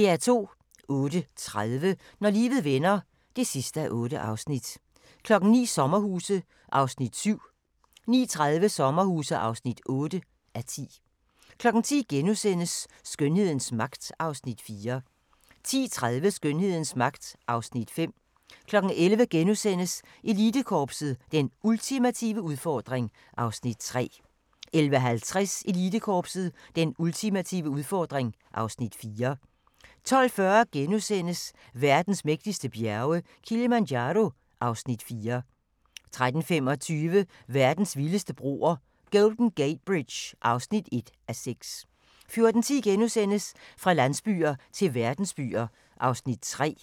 08:30: Når livet vender (8:8) 09:00: Sommerhuse (7:10) 09:30: Sommerhuse (8:10) 10:00: Skønhedens magt (Afs. 4)* 10:30: Skønhedens magt (Afs. 5) 11:00: Elitekorpset – Den ultimative udfordring (Afs. 3)* 11:50: Elitekorpset – Den ultimative udfordring (Afs. 4) 12:40: Verdens mægtigste bjerge: Kilimanjaro (Afs. 4)* 13:25: Verdens vildeste broer – Golden Gate Bridge (1:6) 14:10: Fra landsbyer til verdensbyer (3:4)*